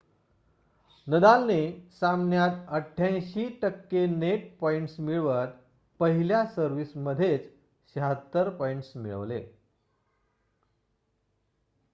नदालने सामन्यात 88% net points मिळवत पहिल्या सर्व्हिस मध्येच 76 पॉइंट्स मिळवले